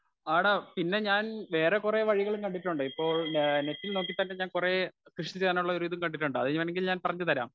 Speaker 1 ആട പിന്നെ ഞാൻ വേറെ കുറെ വഴികളും കണ്ടിട്ടുണ്ട്. ഇപ്പോൾ ഞാൻ നെറ്റിൽ നോക്കിയിട്ടൊക്കെ ഞാൻ കുറേ കൃഷി ചെയ്യാനുള്ള ഒരു ഇതും കണ്ടിട്ടുണ്ട്. അതുവേണെങ്കിൽ ഞാൻ പറഞ്ഞു തരാം .